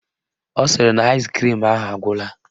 Ọ sịrị na aịskrim ahụ agwụla